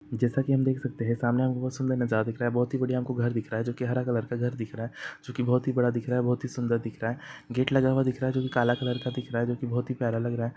जैसा की हम देख सकते है सामने हमको बहुत सुंदर नजारा दिख रहा है बहुत ही बढ़िया हमको घर दिख रहा है जो हरा कलर का घर दिख रहा है जो की बहुत ही बड़ा दिख रहा है बहुत ही सुंदर दिख रहा है गेट लग हुआ दिख रहा है जो की काला कलर का दिख रहा है जो की बहुत ही प्यारा लग रहा है।